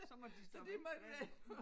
Så måtte de øh